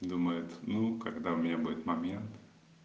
думает ну когда у меня будет момент